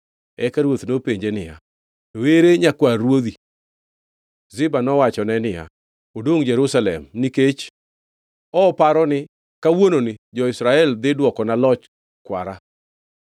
Eka ruoth nopenje niya, “To ere nyakwar ruodhi?” Ziba nowachone niya, “Odongʼ Jerusalem, nikech oparo ni, ‘Kawuononi jo-Israel dhi dwokona loch kwara.’ ”